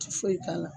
Ti foyi k'a la